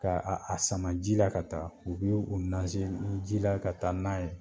K"a a a sama ji la ka taa. U b'u u naze n ji la ka taa n'a ye.